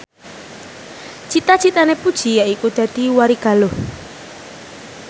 cita citane Puji yaiku dadi warigaluh